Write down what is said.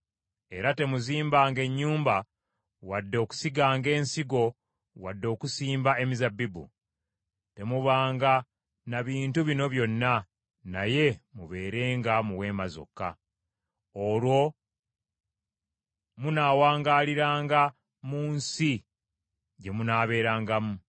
Era temuzimbanga ennyumba, wadde okusiganga ensigo wadde okusimba emizabbibu; temubanga na bintu bino byonna, naye mubeeranga mu weema zokka. Olwo munaawangaliranga mu nsi gye munaaberangamu.’